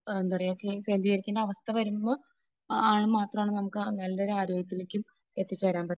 എന്താ പറയുക കേന്ദ്രീകരിക്കുന്ന അവസ്ഥ വരുമ്പോൾ ആ ഇത് മാത്രമാണ് നമുക്ക് നല്ലൊരു ആരോഗ്യത്തിലേക്ക് എത്തിച്ചേരാൻ പറ്റുക.